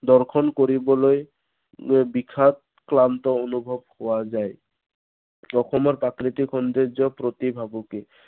দৰ্শন কৰিবলৈ, বিষাদ ক্লান্ত অনুভৱ পোৱা যায়। অসমৰ প্ৰাকৃতিক সৌন্দৰ্যৰ প্ৰতি ভাবুকি